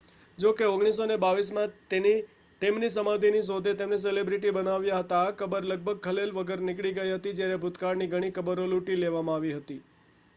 જો કે 1922 માં તેમની સમાધિની શોધે તેમને સેલિબ્રિટી બનાવ્યા હતા આ કબર લગભગ ખલેલ વગર નીકળી ગઈ હતી જ્યારે ભૂતકાળની ઘણી કબરો લૂંટી લેવામાં આવી હતી